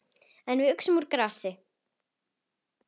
En við uxum úr grasi.